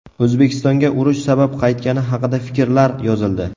O‘zbekistonga urush sabab qaytgani haqida fikrlar yozildi.